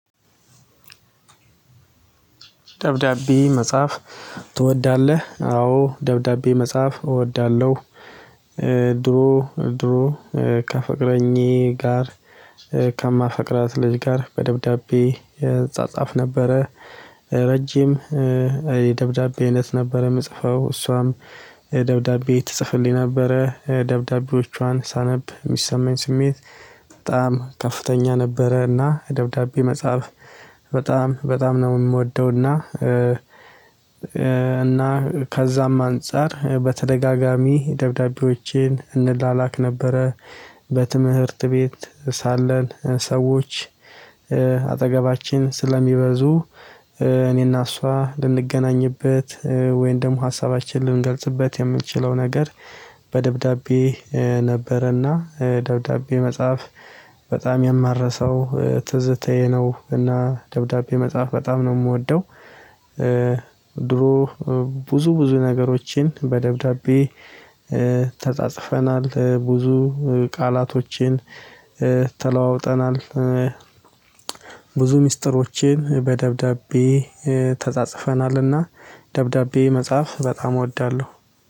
ደብዳቤ መጻፍ ትወዳለህ አዎ ደብዳቤ መጻፍ እወዳለሁ። ድሮ ድሮ ከፍቅረኛዬ ጋር ከማፈቅራት ልጅ ጋር በደብዳቤ እጻጻፍ ነበረ። ረጅም የደብዳቤ አይነት ነበረ የምጽፈው እሷም ደብዳቤ ትጽፍልኝ ነበረ ደብዳቤዎቿን ሳነብ የሚሰማኝ ስሜት። በጣም ከፍተኛ ነበረና ደብዳቤ መጻፍ በጣም በጣም ነው የምወደውና። እና ከዛም አንፃር በተደጋጋሚ ደብዳቤዎቼን እንላላክ ነበረ። በትምህርት ቤት ሳለን ሰዎች አጠገባችን ስለሚበዙ እኔና እሷ ልንገናኝበት ወይንም ደግሞ ሀሳባችንን ልንገልጽበት የምንችለው ነገር። በደብዳቤ ነበረና ደብዳቤ መጽሐፍ በጣም የማረሰው ትዝታዬ ነው። እና ደብዳቤ መጽሐፍ በጣም ነው የምወደው። ድሮ ብዙ ብዙ ነገሮችን በደብዳቤ ተጻጽፈናል ብዙ ቃላቶችን ተለዋውጠናል። ብዙ ሚስጥሮቼን በደብዳቤ ተጻጽፈናልና ደብዳቤ መጻፍ በጣም እወዳለሁ።